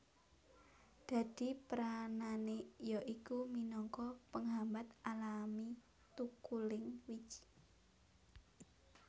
Dadi peranane ya iku minangka penghambat alami thukuling wiji